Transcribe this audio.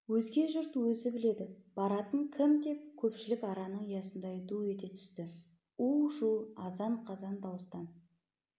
өзге жұрт өзі біледі баратын кім деп көпшілік араның ұясындай ду ете түсті у-шу азан-қазан дауыстан